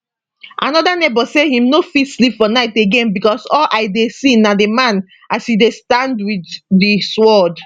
another neighbour say im no fit sleep for night again becos all i dey see na di man as e stand dia wit di sword